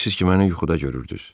Deyirsiniz ki, məni yuxuda görürdüz?